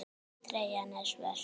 Treyjan er svört.